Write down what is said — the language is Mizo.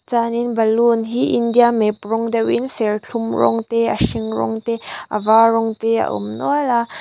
chuanin balloon hi india map rawng deuhin serthlum rawng te a hring rawng te a var rawng te a awm nual a.